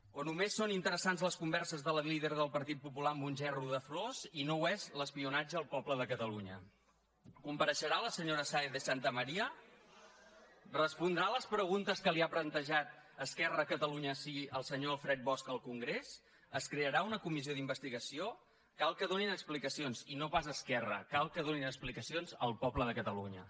o només són interessants les converses de la líder del partit popular amb un gerro de flors i no ho és l’espionatge al poble de catalunya compareixerà la senyora sáez de santamaría respondrà les preguntes que li ha plantejat esquerra de catalunya sigui el senyor alfred bosch al congrés es crearà una comissió d’investigació cal que donin explicacions i no pas a esquerra cal que donin explicacions al poble de catalunya